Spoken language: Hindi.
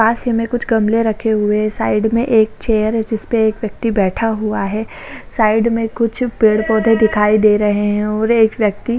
पास ही में कुछ गमले रखे हुए हैं साइड में एक चेयर है जिसपे एक व्यक्ति बैठा हुआ है साइड में कुछ पेड पौधे दिखाई दे रहे है और एक व्यक्ति--